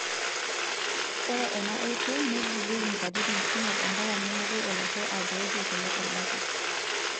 Ore ena oitoi neigilieki nkatitin kumok ompaka nemoku olashe atookie kule orbaket.